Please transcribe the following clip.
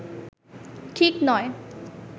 ঠিক নয়